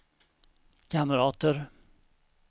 kamrater